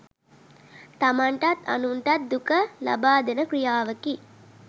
තමන්ටත් අනුන්ටත් දුක ලබාදෙන ක්‍රියාවකි.